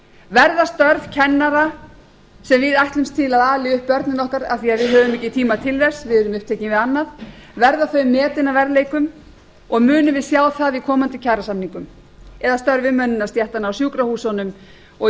verða störf kennara sem við ætlumst til að ali upp börnin okkar af því að við höfum ekki tíma til þess við erum upptekin við annað verða þau metin að verðleikum og munum við sjá það í komandi kjarasamningum eða störf umönnunarstéttanna á sjúkrahúsunum og í